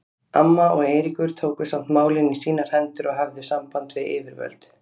Amma og Eiríkur tóku samt málin í sínar hendur og höfðu samband við yfirvöld.